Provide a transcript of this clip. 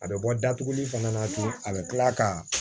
A bɛ bɔ datuguli fana na ten a bɛ tila ka